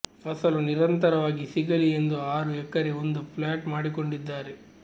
ಫಸಲು ನಿರಂತರವಾಗಿ ಸಿಗಲಿ ಎಂದು ಆರು ಎಕರೆಗೆ ಒಂದು ಪ್ಲಾಟ್ ಮಾಡಿಕೊಂಡಿದ್ದಾರೆ